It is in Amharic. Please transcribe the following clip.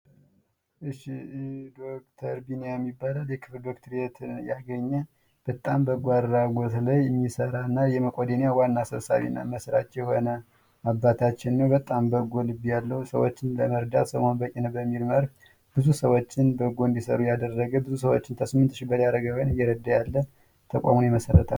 እሽ ዶክተር ቢኒያም ይባላል የክብር ዶክትሬት ያገኘ በጣም በጎ አድራጎት ላይ የሚሰራና የሜቄዶንያ ዋና ሰብሳቢና መስራች የሆነ አባታችን ነው። በጣም በጎ ልብ ያለው ሰዎችን ለመርዳት ሰው መሆን በቂ ነው በሚል መርህ ብዙ ሰዎችን በጎ እንዲሰሩ ያደረገ ብዙ ሰዎችን ከስምት ሺ በላይ አረጋዊያንን እየረዳ ያለ ተቋሙን የመሰረተ።